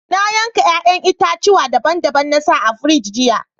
Na yanka yayan itatuwa daban-daban na sa a firiji jiya.